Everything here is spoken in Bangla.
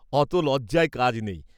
অত লজ্জায় কাজ নেই।